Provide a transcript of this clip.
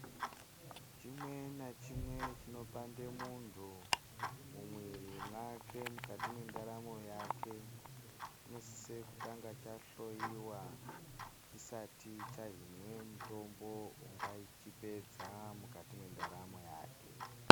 chimwe nachimwe chinopande muntu mumwiri mwake mukati mwendaramwo yake chinosisa kutanga chahloiwa chisati chahinwe mutombo ungachipedza mwukati mwendaramo yake.